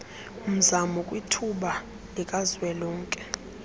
mzamo kwithuba likazwelonke